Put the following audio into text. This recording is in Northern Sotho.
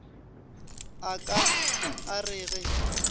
a ka a re ge